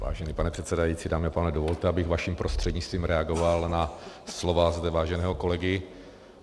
Vážený pane předsedající, dámy a pánové, dovolte, abych vaším prostřednictvím reagoval na slova zde váženého kolegy.